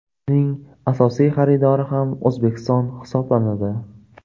Uning asosiy xaridori ham O‘zbekiston hisoblanadi.